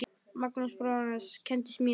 Magnús bróðir hans kenndi smíðar.